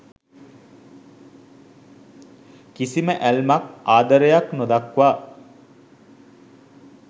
කිසිම ඇල්මක් ආදරයක් නොදක්වා